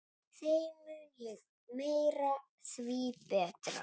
Þeim mun meira, því betra.